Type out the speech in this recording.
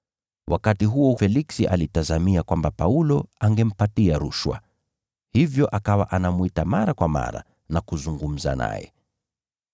Wakati huo Feliksi alitazamia kwamba Paulo angempa rushwa. Hivyo akawa anamwita mara kwa mara na kuzungumza naye.